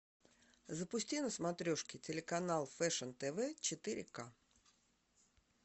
запусти на смотрешке телеканал фэшн тв четыре к